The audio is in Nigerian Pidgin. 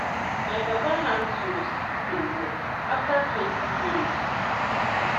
my papa hand tools still dey work after twenty years.